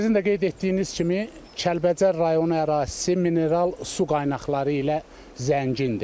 Sizin də qeyd etdiyiniz kimi Kəlbəcər rayonu ərazisi mineral su qaynaqları ilə zəngindir.